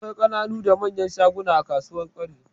Akwai ƙananu da manyan shaguna a kasuwar Kwari.